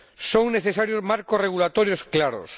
Son necesarios marcos regulatorios claros.